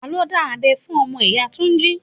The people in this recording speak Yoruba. Ta ló dá abẹ́ fún ọmọ ìyá Túnjí?